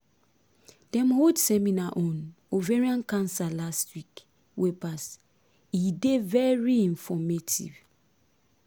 dem hold seminar on ovarian cancer last week wey pass e dey very informative